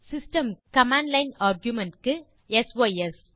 system க்கு smtplib160 command line argumentsக்கு sys160